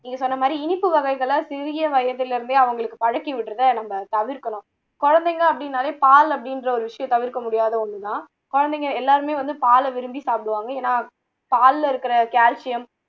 நீங்க சொன்ன மாதிரி இனிப்பு வகைகளை சிறிய வயதிலிருந்தே அவங்களுக்கு பழக்கிவிடுறதை நம்ம தவர்க்கணும் குழந்தைங்க அப்படின்னாலே பால் அப்படின்ற ஒரு விஷயம் தவிர்க்க முடியாத ஒண்ணு தான் குழந்தைங்க எல்லாருமே வந்து பாலை விரும்பி சாப்பிடுவாங்க ஏன்னா பால்ல இருக்குற calcium